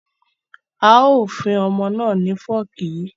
A ó fún ọmọ náà ni fọ́ọ̀kì yí